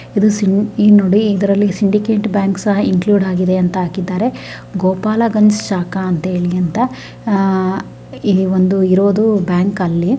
ನೋಡಿ ಇದರಲ್ಲಿ Syndicate Bank ಕೂಡ ಇನ್ಕ್ಲ್ಯೂಡ್ ಆಗಿದೆ ಅಂತ ಆಕಿದಾರೆ ಗೋಪಾಲ ಗಂಜ್ ಶಾಖ ಅಂತ ಹೇಳಿ ಅಂತ ಇದು ಈ ಒಂದು ಇರೋದು ಬ್ಯಾಂಕ್ ಅಲ್ಲಿ--